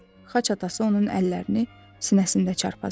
Xaç atası onun əllərini sinəsində çarpazladı.